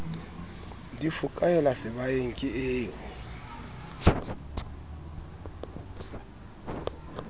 di fokaela sebaeng ke o